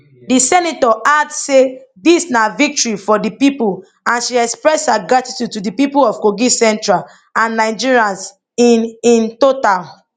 di senator add say dis na victory for di pipo and she express her gratitude to di pipo of kogi central and nigerians in in total